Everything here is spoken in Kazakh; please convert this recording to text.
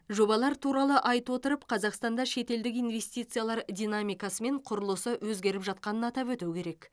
жобалар туралы айта отырып қазақстанда шетелдік инвестициялар динамикасы мен құрылысы өзгеріп жатқанын атап өту керек